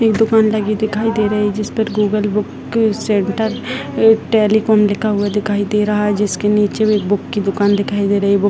दुकान लगी हुई दिखाई दे रही जिस पर Google book centre and telecom लिखा हुआ दिखाई दे रहा है जिसके नीचे भी बुक की दुकान दिखाई दे रही बु --